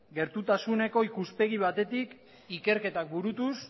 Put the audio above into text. gertutasuneko ikuspegi batetik ikerketak burutuz